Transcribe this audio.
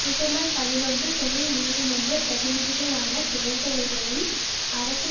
December பதினொன்று தொழில் நீதிமன்ற பிரதிநிதிகளான தேர்தல்களும் அரசின்